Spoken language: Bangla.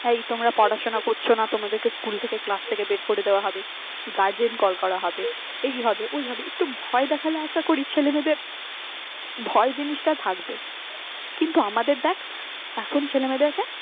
এই তোমরা পড়াশোনা করছ না তোমাদের school থেকে class থেকে বের করে দেওয়া হবে garden call করা হবে। এই হবে ওই হবে একটু ভয় দেখালে আশা করি ছেলেমেয়েদের ভয় জিনিসটা থাকবে। কিন্তু আমাদের দেখ এখন ছেলেমেয়েদেরকে